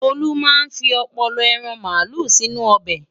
Tolú máa fi ọpọlọ ẹran màálù sínú ọbẹ̀.